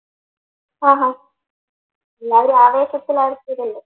അഹ് ഹാ എല്ലാവരും ആവേശത്തിലായിരിക്കൂലല്ലോ